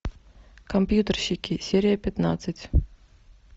компьютерщики серия пятнадцать